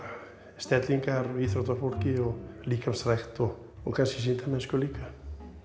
stellingar hjá íþróttafólki líkamsrækt og kannski sýndamennsku líka